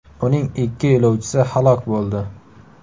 Uning ikki yo‘lovchisi halok bo‘ldi.